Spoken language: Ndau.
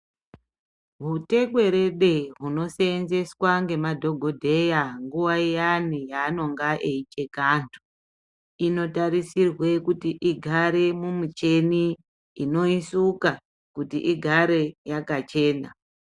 Hutekwerede hunosevenzeswa ngemadhokodheya nguva iyani yaanenga eicheka antu inotarisirwe kuti igare mumicheni inoisuka kuti igare yakachena.